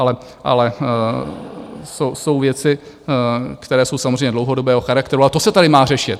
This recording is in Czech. Ale jsou věci, které jsou samozřejmě dlouhodobého charakteru, a to se tady má řešit.